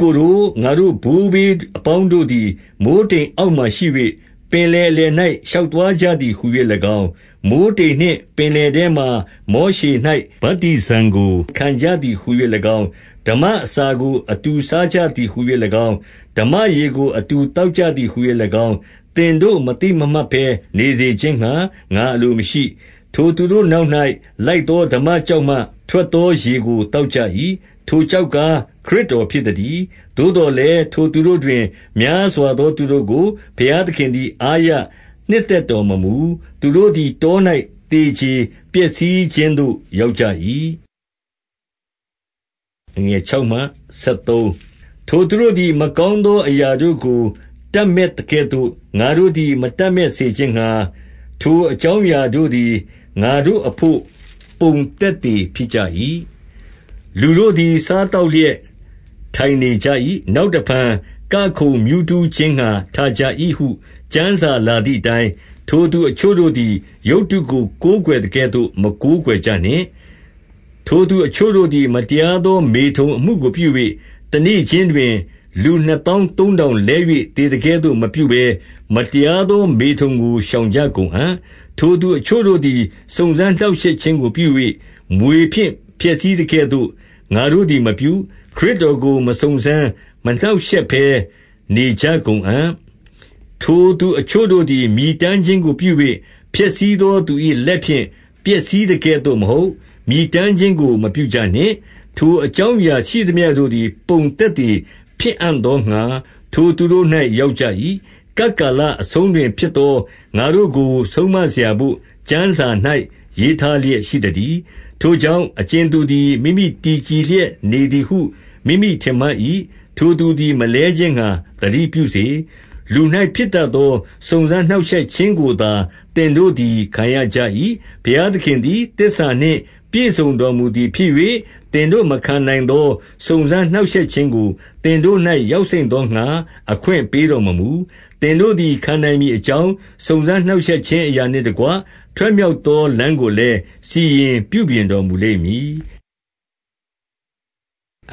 ကိုတို့၊ ငါတို့ဘိုးဘေးအပေါင်းတို့သည် မိုဃ်းတိမ်အောက်မှာရှိ၍၊ ပင်လယ်အလယ်၌ ရှောက်သွား ကြသည်ဟူ၍၎င်း၊ 2 မိုဃ်းတိမ်နှင့်ပင်လယ်ထဲမှာ မောရှေ၌ ဗတ္တိဇံကို ခံကြသည် ဟူ၍၎င်း၊ 3 ဓမ္မအစာကိုအတူစားကြသည်ဟူ၍၎င်း၊ ဓမ္မရေကို အတူသောက်ကြသည်ဟူ၍၎င်း၊ သင်တို့ မသိမမှတ် ဘဲနေစေခြင်းငှါ ငါအလိုမရှိ၊ 4 ထိုသူတို့နောက်၌ လိုက်သောဓမ္မကျောက်မှ ထွက်သောရေကို သောက်ကြ၏။ ထိုကျောက်ကား ခရစ် တော်ဖြစ်သတည်း။ 5 သို့သော်လည်း ထိုသူတို့တွင် များစွာသော သူတို့ကို ဘုရားသခင်သည် အားရနှစ်သက်တော်မမူ။ သူတို့သည် တော၌သေကြေပျက်စီးခြင်းသို့ ရောက်ကြ၏။ 6 ထိုသူတို့သည် မကောင်းသောအရာတို့ကို တပ်မက်သကဲ့သို့ ငါတို့သည် မတပ်မက်စေခြင်းငှါ၊ ထိုအကြောင်းအရာတို့သည် ငါတို့အဘို့ ပုံသက်သေ ဖြစ်ကြ၏။ 7 လူတို့သည် စားသောက်လျက် ထိုင်နေကြ၏။ နောက်တဖန် ကခုန်မြူးထူးခြင်းငှါ ထကြ၏ဟု ကျမ်းစာ လာသည်အတိုင်း၊ 8 ထိုသူအချို့တို့သည် ရုပ်တုကို ကိုးကွယ်သကဲ့သို့ မကိုးကွယ်ကြနှင့်။ ထိုသူအချို့တို့သည် မတရားသော မေထုန်အမှုကိုပြု၍ တနေ့ခြင်းတွင် လူနှစ်သောင်း သုံးထောင်လဲ၍သေသကဲ့သို့ မပြုဘဲ၊ မတရားသော မေထုန်ကိုရှောင်ကြကုန်အံ့။ 9 ထိုသူအချို့တို့သည် စုံစမ်းနှောင့်ရှက်ခြင်းကို ပြု၍၊ မြွေဖြင့် ပျက်စိးသကဲ့သို့ ငါတို့သည်မပြု၊ ခရစ်တော် ကို မစုံစမ်းမနှောင့်ရှက်ဘဲနေကြကုန်အံ့။ 10 ထိုသူအချို့တို့သည် မြည်တမ်းခြင်းကိုပြု၍၊ ဖျက်ဆီးသောသူ၏ လက်ဖြင့် ပျက်စီးသကဲ့သို့မဟုတ်၊ မြည်တမ်းခြင်းကိုမပြုကြနှင့်။ 11 ထိုအကြောင်းအရာရှိသမျှတို့သည် ပုံသက်သေ ဖြစ်အံ့သောငှါ ထိုသူတို့၌ ရောက်ကြ၏။ ကပ်ကာလ အဆုံးတွင် ဖြစ်သောငါတို့ကို ဆုံးမစရာဘို့ ကျမ်းစာ၌ ရေးထားလျက်ရှိသတည်း။ 12 ထိုကြောင့် အကြင်သူသည် မိမိတည်ကြည် လျက်နေသည်ဟု မိမိထင်မှတ်၏။ ထိုသူသည် မလဲခြင်းငှါ သတိပြုစေ။ 13 လူ၌ဖြစ်တတ်သော စုံစမ်းနှောင့်ရှက်ခြင်းကိုသာ သင်တို့သည် ခံရကြ၏။ ဘုရားသခင်သည် သစ္စာနှင့် ပြည့်စုံတော်မူသည်ဖြစ်၍၊ သင်တို့ မခံနိုင်သော စုံစမ်းနှောင့်ရှက်ခြင်းကို သင်တို့၌ ရောက်စိမ့်သောငှါ အခွင့်ပေး တော်မမူ။ သင်တို့သည် ခံနိုင်မည်အကြောင်း စုံစမ်းနှောင့်ရှက်ခြင်းအရာနှင့်တကွ၊ ထွက်မြောက်သော လမ်းကိုလည်း စီရင်ပြုပြင်တော်မူလိမ့်မည်။ 14